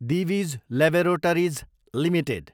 Divij laboratories Ltd